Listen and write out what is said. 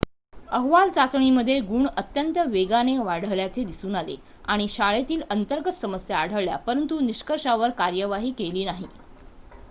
अहवाल चाचणीमध्ये गुण अत्यंत वेगाने वाढल्याचे दिसून आले आणि शाळेतील अंतर्गत समस्या आढळल्या परंतु निष्कर्षांवर कारवाई केली नाही